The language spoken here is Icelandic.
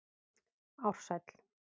Ársæll